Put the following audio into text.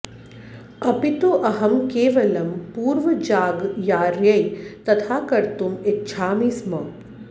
अपि तु अहं केवलं पूर्वजागर्यायै तथा कर्तुम् इच्छामि स्म